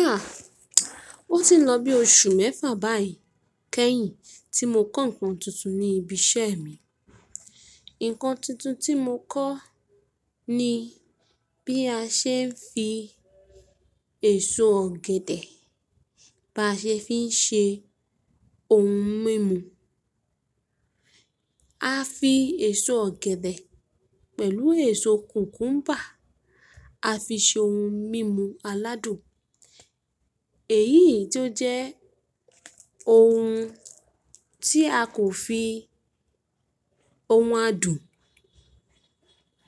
Ah! Ó ti ń lọ bí oṣù mẹ́fà báyìí kẹ́yìn tí mo kọ́ ǹkan tuntun ní ibi iṣẹ́ mi. Ǹkan tuntun tí mo kọ ní bí a ṣe ń fi èso ọ̀gẹ̀dẹ̀, bá ṣe ń fi ṣe ohun mímu. A fi èso ọ̀gẹ̀dẹ̀ pẹ̀lú èso kùkúḿbà, a fi ṣe ohun mímu aládùn. Èyí tó jẹ́ ohun tí a kò fi ohun adùn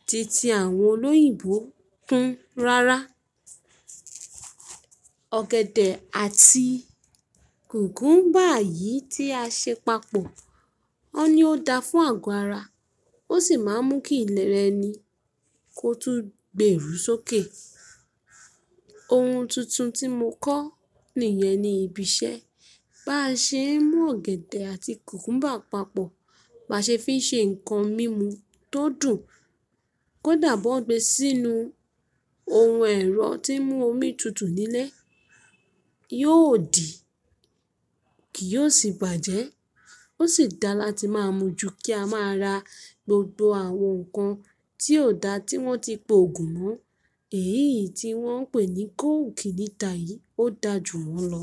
titi àwọn olóyìnbó kún rárá. Ọ̀gẹ̀dẹ̀ àti kùkúḿbà yìí tí a ṣe papọ̀, won ní o dáa fún àgọ́ ara, ó sì máa ń mú kí ilẹ̀ rẹni kó tún gbèrú sókè. Ohun tuntun tí mo kọ̀ nìyẹn ní ibi iṣẹ́. Bá ṣe ń mú ọ̀gẹ̀dẹ̀ àti kùkúḿbà papọ̀, bá ṣe ń fi ṣe ǹkan mímu tó dùn, kò dà bí won gbe sínú ohun ẹ̀rọ tí ń mú omi tutù níle. Yóò dì, kì yóò sì bàjẹ́. Ó sì dáa láti máa mójú kí a máa ra gbogbo àwọn nǹkan tí ò dáa tí wọ́n ti pògùn mọ́. Èyí tí wọ́n ń pè ní kóòkì níta yìí ó dà jù wọ́n lọ.